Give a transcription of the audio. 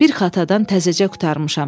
Bir xatadan təzəcə qurtarmışam.